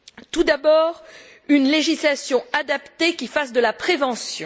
Tout d'abord, une législation adaptée qui fasse de la prévention.